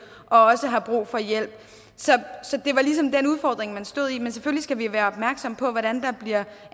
og også har brug for hjælp så det var ligesom den udfordring man stod i men selvfølgelig skal vi være opmærksomme på hvordan der bliver